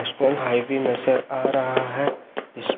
इसमें आई भी नजर आ रहा हैं इस--